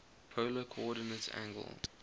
polar coordinate angle